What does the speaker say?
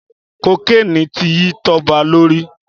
Kókéni ti yi Toba lóri